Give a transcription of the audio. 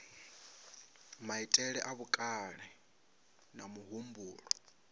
maitele a vhukale na muhumbulo